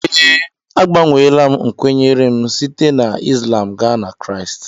Ee, agbanweela m nkwenye m site na Islam gaa na nke Kraịst